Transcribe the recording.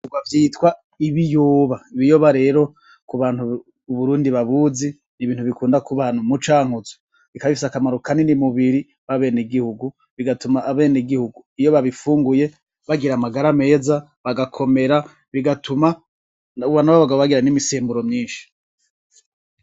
Bavyita ibiyoba, rero kubantu uburundi babuzi bikunze kuba ahantu mu cankuzo, bikaba bifise akamaro kanini mu mubiri bigatuma abanegihugu iyo babifunguye bagira amagara meza bagakomera, bigatuma n'abagabo bagira imisemburo myinshi.